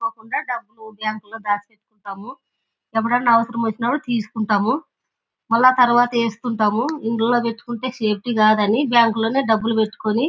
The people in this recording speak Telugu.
కాకుండా డబ్బు బ్యాంకు లో దాచి పెట్టుకుంటాము. ఎప్పుడైనా అవసరం వచ్చినప్పుడు తీసుకుంటాము. మళ్ళా తరువాత ఏసుకుంటాము. ఇందులో పెట్టుకుంటే సేఫ్టీ కాదు అని బ్యాంకు లోనే డబ్బులు పెట్టుకొని --